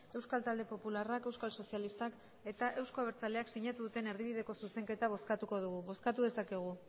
euskal talde popularrak euskal sozialistak eta euzko abertzaleak sinatu duten erdibideko zuzenketa bozkatuko dugu bozkatu dezakegu